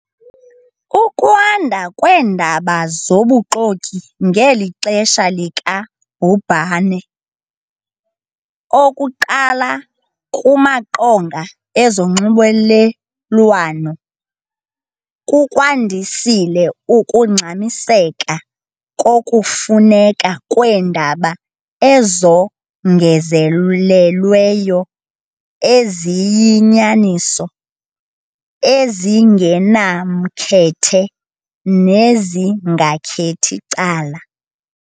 Ukwanda kweendaba zobuxoki ngeli xesha lika bhubhane, okuqala kumaqonga ezonxulumelwano, kukwandisile ukungxamiseka kokufuneka kweendaba ezongezelelweyo eziyinyaniso, ezingenamkhethe nezingakhethi cala.